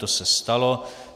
To se stalo.